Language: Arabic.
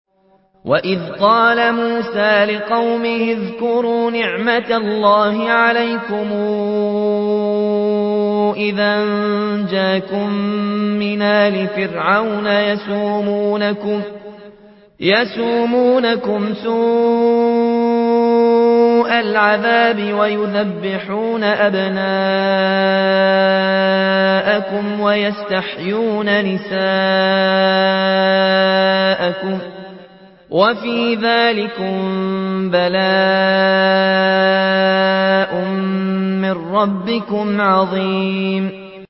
وَإِذْ قَالَ مُوسَىٰ لِقَوْمِهِ اذْكُرُوا نِعْمَةَ اللَّهِ عَلَيْكُمْ إِذْ أَنجَاكُم مِّنْ آلِ فِرْعَوْنَ يَسُومُونَكُمْ سُوءَ الْعَذَابِ وَيُذَبِّحُونَ أَبْنَاءَكُمْ وَيَسْتَحْيُونَ نِسَاءَكُمْ ۚ وَفِي ذَٰلِكُم بَلَاءٌ مِّن رَّبِّكُمْ عَظِيمٌ